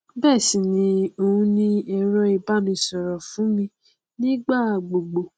bẹẹ sì ni òun ni ẹrọ ìbánisọrọ fún mi ní ìgbà gbogbo